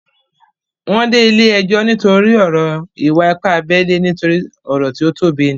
Wọ́n dé ilé ẹjọ́ nítorí ọ̀rọ̀ ìwà-ipá abẹ́lé nítorí ọ̀rọ̀ tí ó tóbi ní